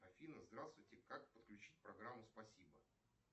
афина здравствуйте как подключить программу спасибо